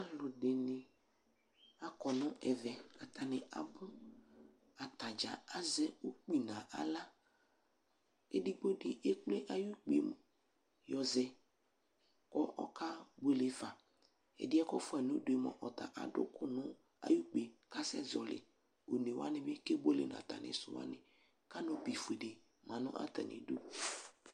Alʋdini akɔ n'ɛvɛ, atani abʋ, ata dzaa azɛ ukpi n'aɣla Edigbo di ekple ay'ukpi yɛ mu, y'ɔzɛ kʋ okebuele ɖa, ɛdi yɛ kɔ fua n'udu yɛ mua sta adʋ ʋkʋ nʋ ay'ukpi yɛ kasɛ zɔli Onewani bi kebuele n'atami dʋ wani k'aŋʋ bi ƒue di ma nʋ atamidu